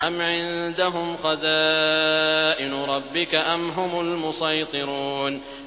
أَمْ عِندَهُمْ خَزَائِنُ رَبِّكَ أَمْ هُمُ الْمُصَيْطِرُونَ